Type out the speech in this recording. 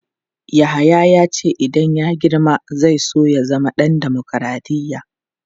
Yahaya ya ce idan ya girma zai so ya zama ɗan dimokradiyya.